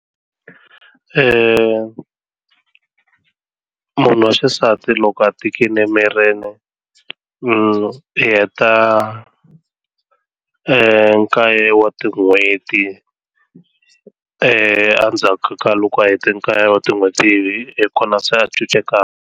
Munhu wa xisati loko a tikile emirini mi heta nkaye wa tin'hweti endzhaku ka loko a hete nkaye wa tin'hweti hi kona se a .